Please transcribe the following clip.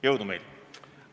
Jõudu meile!